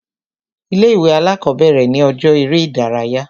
Ilé ìwé alákọ̀bẹ̀rẹ̀ ni ọjọ́ eré ìdárayá.